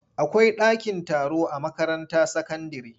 Akwai dakin taro a makaranta sakandire.